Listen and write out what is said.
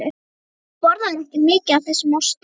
Þú borðar ekki mikið af þessum osti.